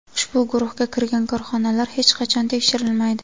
Ushbu guruhga kirgan korxonalar hech qachon tekshirilmaydi.